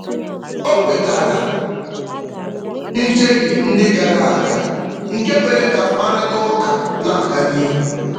O kwetara njehie ndị gara aga, nke mere ka mkparịtaụka na-aga n'ihu.